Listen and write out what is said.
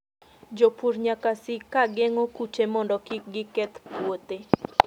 Jopur nyaka sik ka geng'o kute mondo kik giketh puothe.